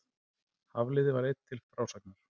Hafliði var einn til frásagnar.